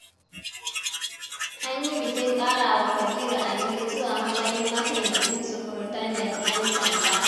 An yi bikin ƙara wa Kabiru anini zuwa matsayin maitaimakin Sufurtandan 'yan sanda.